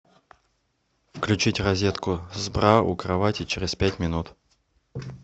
включить розетку с бра у кровати через пять минут